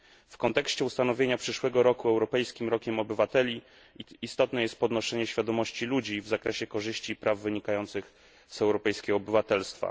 W kontekście ustanowienia przyszłego roku Europejskim Rokiem Obywateli istotne jest podnoszenie świadomości ludzi w zakresie korzyści i praw wynikających z europejskiego obywatelstwa.